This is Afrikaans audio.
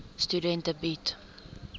studente bied